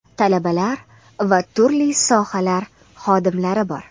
talabalar va turli sohalar xodimlari bor.